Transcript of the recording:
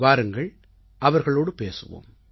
வாருங்கள் அவர்களோடு பேசுவோம்